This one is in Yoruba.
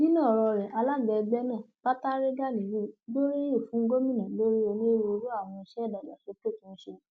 nínú ọrọ rẹ alaga ẹgbẹ náà batare ganiyun gbóríyìn fún gomina lórí onírúurú àwọn iṣẹ ìdàgbàsókè tó ń ṣe